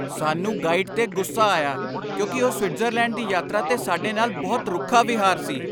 ਸਾਨੂੰ ਗਾਈਡ 'ਤੇ ਗੁੱਸਾ ਆਇਆ ਕਿਉਂਕਿ ਉਹ ਸਵਿਟਜ਼ਰਲੈਂਡ ਦੀ ਯਾਤਰਾ 'ਤੇ ਸਾਡੇ ਨਾਲ ਬਹੁਤ ਰੁੱਖਾ ਵਿਹਾਰ ਸੀ।